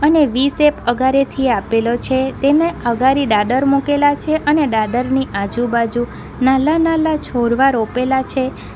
ને V shape અગાડેથી આપેલો છે તેને અગાડી દાદર મુકેલા છે અને દાદરની આજુબાજુ નાલ્લા નાલ્લા છોડવા રોપેલા છે.